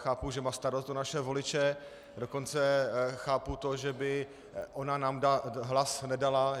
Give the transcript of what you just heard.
Chápu, že má starost o naše voliče, dokonce chápu to, že ona by nám hlas nedala.